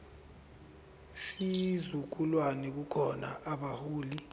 sizukulwane kukhona abaholi